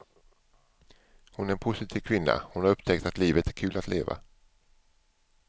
Hon är en positiv kvinna, hon har upptäckt att livet är kul att leva.